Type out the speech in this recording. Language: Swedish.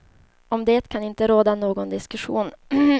Om det kan det inte råda någon diskussion.